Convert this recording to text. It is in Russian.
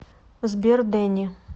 сбер дэнни